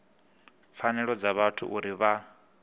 pfanelo dza vhathu uri vha